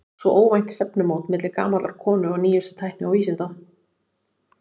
Svo óvænt stefnumót milli gamallar konu og nýjustu tækni og vísinda.